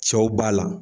Cɛw b'a la